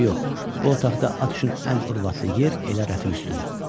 Eybi yox, bu otaqda at üçün ən urvatlı yer elə rəfin üstüdür.